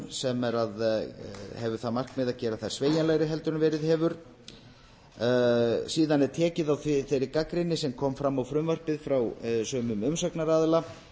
sem hefur það markmið að gera þær sveigjanlegri en verið hefur síðan er tekið á þeirri gagnrýni sem kom fram á frumvarpið frá sumum umsagnaraðila